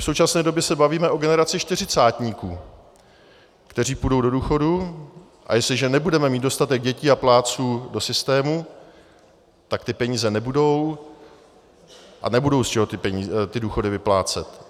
V současné době se bavíme o generaci čtyřicátníků, kteří půjdou do důchodu, a jestliže nebudeme mít dostatek dětí a plátců do systému, tak ty peníze nebudou a nebude z čeho ty důchody vyplácet.